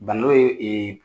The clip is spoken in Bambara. Bando ye